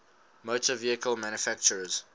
motor vehicle manufacturers